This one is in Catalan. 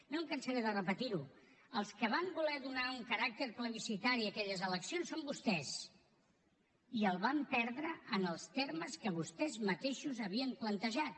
no em cansaré de repetir ho els que van voler donar un caràcter plebiscitari a aquelles eleccions són vostès i el van perdre en els termes que vostès mateixos havien plantejat